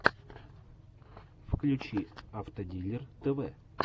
включи автодилер тв